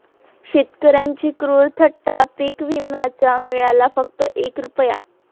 शेतकऱ्यांची क्रूर थट्टा, पीक विम्याचा मिळाला फक्त एक रूपया